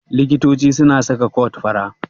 Likito suna saka kot fara.